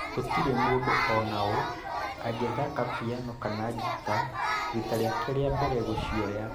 gũtirĩ mũndũ ona ũ angĩthaka piano kana ngita rita rĩake rĩa mbere kũcioya